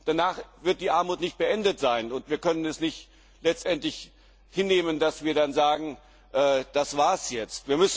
Danach wird die Armut nicht beendet sein, und wir können es letztendlich nicht hinnehmen, dass wir dann sagen Das war es jetzt.